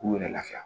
K'u yɛrɛ lafiya